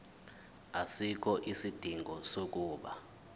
asikho isidingo sokuba